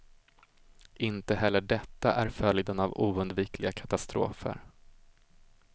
Inte heller detta är följden av oundvikliga katastrofer.